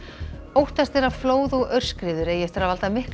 óttast er að flóð og aurskriður eigi eftir að valda miklu